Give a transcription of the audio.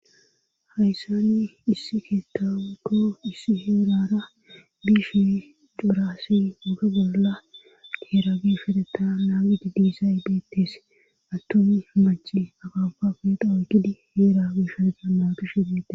Hayssani issi keettauto issi heerara biishe juurassi woge bolla geerabifedeta naaqidi diisa y beettes attomi maci aqafa fedawugidi heera biisha dammaqushe bette